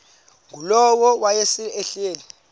ngulowo wayesel ehleli